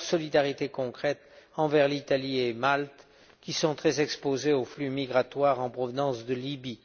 solidarité concrète envers l'Italie et Malte, qui sont très exposées aux flux migratoires en provenance de Libye.